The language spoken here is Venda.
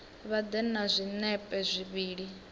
vha ḓe na zwinepe zwivhili